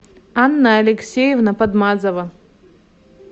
анна алексеевна подмазова